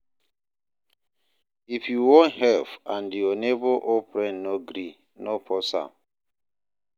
If you won help and your neighbor or friend no gree, no force am